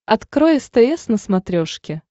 открой стс на смотрешке